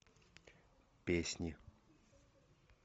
песни